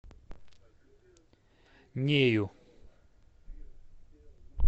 нею